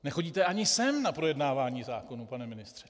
Nechodíte ani sem na projednávání zákonů, pane ministře.